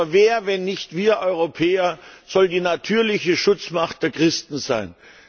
Aber wer, wenn nicht wir Europäer, soll die natürliche Schutzmacht der Christen sein?